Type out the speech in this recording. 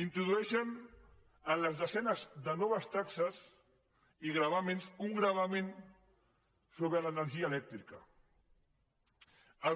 introdueixen en les desenes de noves taxes i gravàmens un gravamen sobre l’energia elèctrica